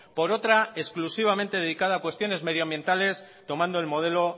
por otra exclusivamente dedicada a cuestiones medioambientales tomando el modelo